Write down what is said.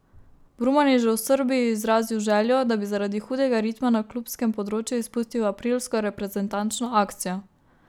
Brumen je že v Srbiji izrazil željo, da bi zaradi hudega ritma na klubskem področju izpustil aprilsko reprezentančno akcijo.